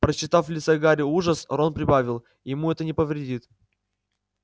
прочитав в лице гарри ужас рон прибавил ему это не повредит